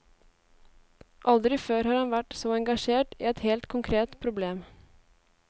Aldri før har han vært så engasjert i et helt konkret problem.